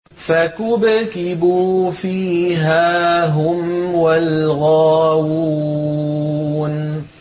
فَكُبْكِبُوا فِيهَا هُمْ وَالْغَاوُونَ